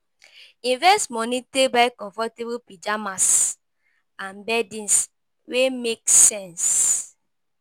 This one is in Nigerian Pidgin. Invest money take buy comfortable pyjamas and beddings wey make sense